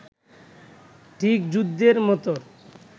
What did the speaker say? ঠিক যুদ্ধের মতো